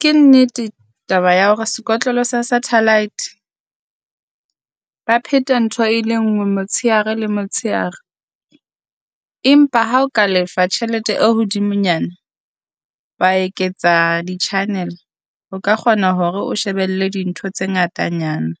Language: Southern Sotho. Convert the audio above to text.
Ke nnete taba ya hore sekotlolo sa satellite ba pheta ntho e le nngwe motshehare le motshehare. Empa ha o ka lefa tjhelete e hodimonyana wa eketsa di channel, o ka kgona hore o shebelle dintho tse ngatanyana.